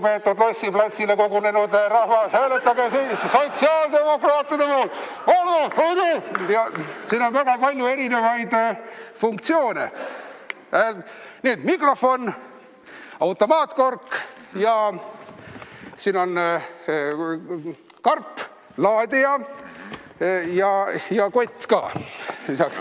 Nii et siin on väga palju erinevate funktsioonidega asju: mikrofon, automaatkork ja siin on karp, laadija ja kott ka lisaks.